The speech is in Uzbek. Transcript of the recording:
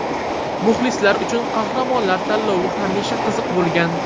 Muxlislar uchun qahramonlar tanlovi hamisha qiziq bo‘lgan.